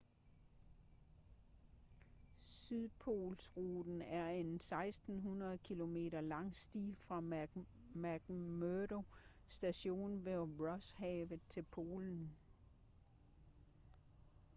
sydpolsruten er en 1.600 kilometer lang sti fra mcmurdo station ved rosshavet til polen